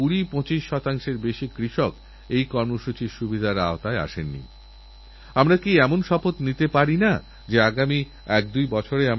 আমি প্রত্যেক দরিদ্রপরিবারকে অনুরোধ করবো সকল গর্ভবতী মায়েরা মাসের নয় তারিখে এই পরিষেবা গ্রহণ করুণযাতে নবম মাস পর্যন্ত পৌঁছতে পৌঁছতে যদি কোনো সমস্যা হয় তাহলে আগে থেকেই তারচিকিৎসা সম্ভব হবে